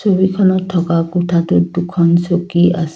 ছবিখনত থকা কোঠাটোত দুখন চকী আছ--